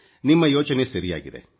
ನಿಮ್ಮ ಯೋಚನೆ ಸರಿಯಾಗಿದೆ